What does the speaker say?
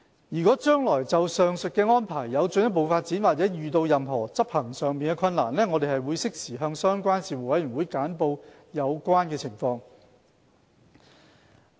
若將來就上述安排有進一步發展，或遇到任何執行上的困難，我們會適時向相關事務委員會簡報有關情況。